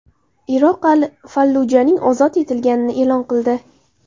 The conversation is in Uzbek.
Iroq Al-Fallujaning ozod etilganini e’lon qildi.